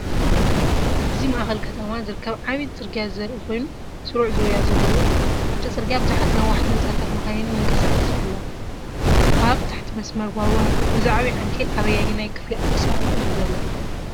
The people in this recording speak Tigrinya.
እዚ ማእከል ከተማ ዝርከብ ዓቢ ጽርግያ ዘርኢ ኮይኑ ስሩዕ ዙርያ ዘለዎ እዩ። ኣብቲ ጽርግያ ብዙሓት ነዋሕቲ ህንጻታትን መካይንን ይንቀሳቐሳ ኣለዋ። ኣብ ታሕቲ መስመር ባቡር ኣሎ። እዚ ዓቢ ዓንኬል ኣብ ኣየናይ ክፋል ኣዲስ ኣበባ እዩ ዘሎ?